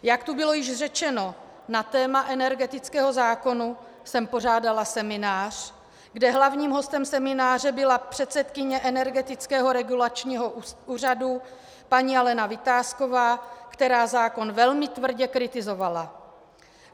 Jak tu bylo již řečeno, na téma energetického zákona jsem pořádala seminář, kde hlavním hostem semináře byla předsedkyně Energetického regulačního úřadu paní Alena Vitásková, která zákon velmi tvrdě kritizovala.